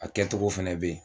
A kɛcogo fana bɛ yen